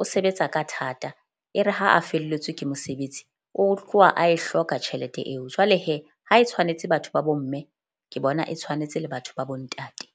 o sebetsa ka thata. E re ha a felletswe ke mosebetsi o tloha a e hloka tjhelete eo. Jwale ha e tshwanetse batho ba bo mme, ke bona e tshwanetse le batho ba bo ntate.